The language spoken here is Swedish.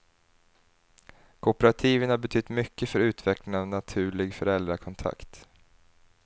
Kooperativen har betytt mycket för utvecklingen av naturlig föräldrakontakt.